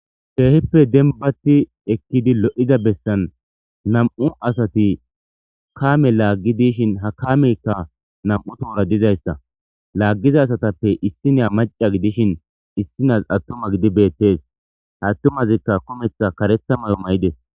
Kehipe lo'idi dembatida besan nam'u asati kame lagidi ha kameyka nam'u tohora dizaysa lagiza asatape issina mac'a gidishin issiniya qasi atuma gidi betes ha atumazika karetha kumeta mayo ma'ides.